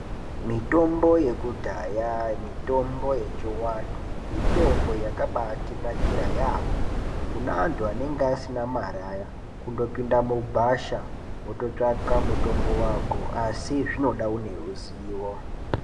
Mitombo yekudhaya mitombo yechivantu mitombo yakabatinakira yaambo kune antu anenge asina mare aya, kundopinda mugwasha wototsvaka mutombo wako asi zvinoda une ruzivo.